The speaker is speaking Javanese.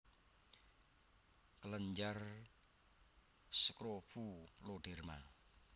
kelenjar skrofuloderma